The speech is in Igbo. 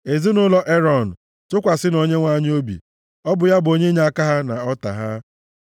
Ezinaụlọ Erọn, tụkwasịnụ Onyenwe anyị obi. Ọ bụ ya bụ onye inyeaka ha na ọta ha.